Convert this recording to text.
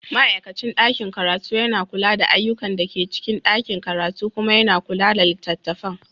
Ma'aikacin ɗakin karatu yana kula da ayyukan da ke cikin ɗakin karatu kuma yana kula da littattafan.